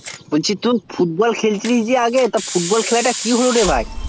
বলছি তুই যে football খেলতিস তো football খেলা টা কি হলো রে ভাই